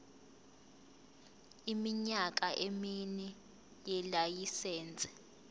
iminyaka emine yelayisense